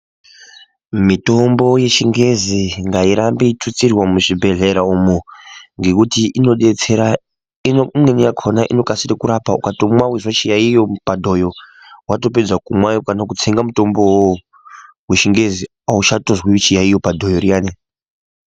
Mitombo yechingezi ngairambe yeitutsirwa muzvibhehlera umo ngekuti unodetsera imweni yakona inokasire kurapa ukatongomwa wotonzwa chiyayiyo padhoyo watopedza kumwa kana kutsenga mutombo uwowo wechingezi auchatonzwi chiyayiyo padhoyo riyani.